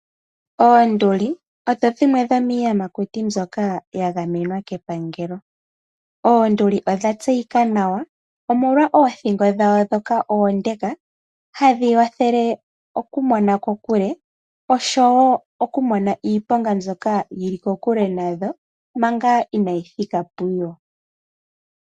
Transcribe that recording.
Oondli odho dhimwe dhomiiyamakuti mbyoka ya gamenwa kepangelo. Oonduli odha tseyika nawa omolwa othingo dhawo ndhoka oonde hadhi wathele okumona kokule oshowo okumona iiponga mbyoka yili kokule nadho manga inayi thika puyo.